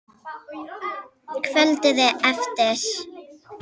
Kvöldið eftir.